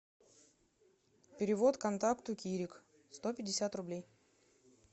перевод контакту кирик сто пятьдесят рублей